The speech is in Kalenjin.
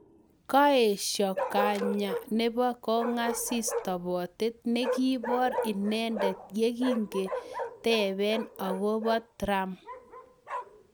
Kaeshoo kanyeee nepo kong'asis topotet nekipoor inendendet yekingetepee akopoo tram